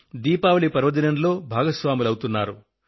దీపావళి పర్వదినంలో భాగస్వాములు అవుతున్నారు